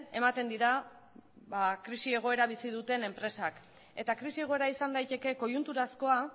ematen dira krisi egoera bizi duten enpresak eta krisi egoera izan daiteke koiunturazkoa